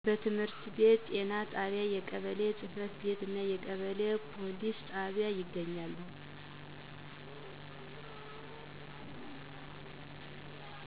ትምህርት ቤት፣ ጤና ጣቢያ፣ የቀበሌ ጽ/ቤት እና የቀበሌ ፕሊስ ጣቢያ ይገኛሉ።